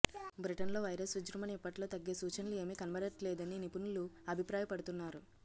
బ్రిటన్లో వైరస్ విజృంభణ ఇప్పట్లో తగ్గే సూచనలు ఏమీ కనబడట్లేదని నిపుణులు అభిప్రాయపడుతున్నారు